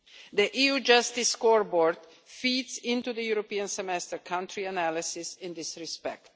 The EU Justice Scoreboard feeds into the European Semester country analysis in this respect.